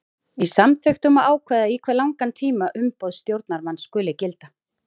Í samþykktum má ákveða í hve langan tíma umboð stjórnarmanns skuli gilda.